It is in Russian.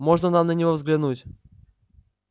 можно нам на него взглянуть